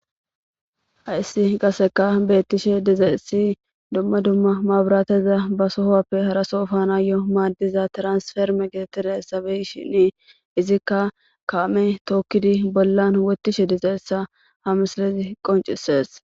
Hayssi qasekka bettishe dizayssi dumma dumma mabirateza ba sohuwappe hara soho effanoy maddiza transformere be'ishini izikka kamey tokkidi bolla wothishe dizayssa ha misildzi qonccisses.